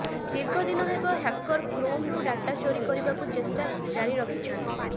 ଦୀର୍ଘଦିନ ହେବ ହ୍ୟାକର କ୍ରୋମ୍ରୁ ଡାଟା ଚୋରି କରିବାକୁ ଚେଷ୍ଟା ଜାରି ରଖିଛନ୍ତି